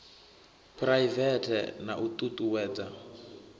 phuraivete na u ṱu ṱuwedza